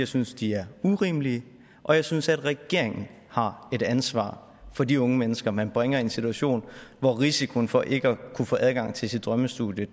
synes de er urimelige og jeg synes regeringen har et ansvar for de unge mennesker man bringer i en situation hvor risikoen for ikke at kunne få adgang til sit drømmestudie